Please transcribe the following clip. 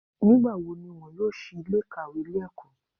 Nígbàwo ni wọn yóò sí Ilé ìkàwé Ilé ẹ̀kọ́?